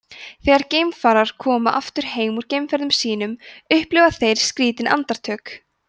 þegar geimfarar koma aftur heim úr geimferðum sínum upplifa þeir skrýtin andartök